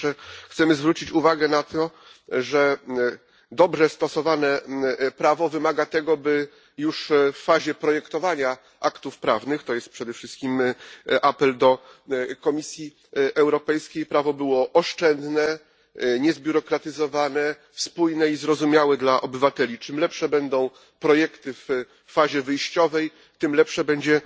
Po pierwsze, chcemy zwrócić uwagę na fakt, że dobrze stosowane prawo wymaga, by już w fazie projektowania aktów prawnych jest to przede wszystkim apel do Komisji Europejskiej prawo było oszczędne, niezbiurokratyzowane, spójne i zrozumiałe dla obywateli. Czym lepsze będą projekty w fazie wyjściowej, tym lepsze będzie